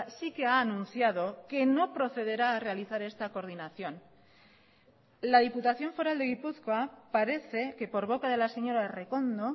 sí que ha anunciado que no procederá a realizar esta coordinación la diputación foral de gipuzkoa parece que por boca de la señora errekondo